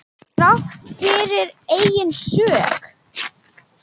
Þrátt fyrir eigin sök.